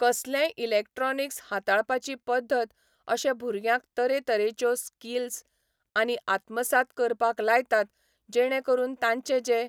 कसलेंय इलेक्ट्रोनीक्स हाताळपाची पद्दत अशें भुरग्यांक तरेतरेच्यो स्किलसय आमी आत्मसाद करपाक लायतात जेणें करून तांचें जें